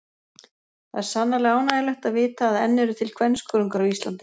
Það er sannarlega ánægjulegt að vita að enn eru til kvenskörungar á Íslandi.